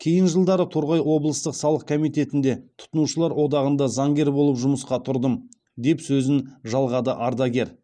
кейін жылдары торғай облыстық салық комитетінде тұтынушылар одағында заңгер болып жұмысқа тұрдым деп сөзін жалғады ардагер